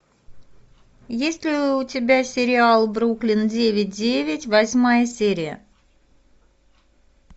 есть ли у тебя сериал бруклин девять девять восьмая серия